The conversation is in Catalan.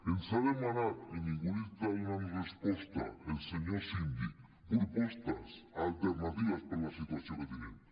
ens ha demanat i ningú li està donant resposta el senyor síndic propostes alternatives per a la situació que tenim